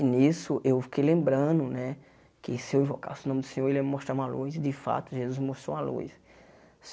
E, nisso, eu fiquei lembrando né que se eu invocasse o nome do Senhor, Ele ia me mostrar uma luz e, de fato, Jesus me mostrou uma luz.